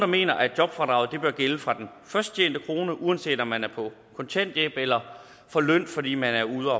mener at jobfradraget bør gælde fra den først tjente krone uanset om man er på kontanthjælp eller får løn fordi man er ude